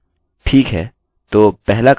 इसको करने के 2 तरीके हैं